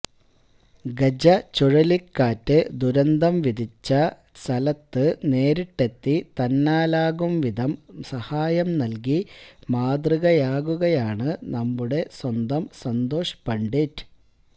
ഗജ ചുഴലിക്കാറ്റ് ദുരന്തം വിതച്ച സ്ഥലത്ത് നേരിട്ടെത്തി തന്നാലാകും വിധം സഹായം നല്കി മാതൃകയാകുകയാണ് നമ്മുടെ സ്വന്തം സന്തോഷ് പണ്ഡിറ്റ്